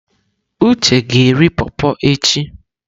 Uche ga-eri pọrpọr echi.